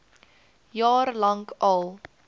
jaar lank al